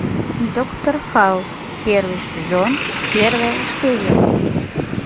доктор хаус первый сезон первая серия